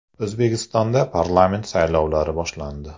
O‘zbekistonda parlament saylovlari boshlandi.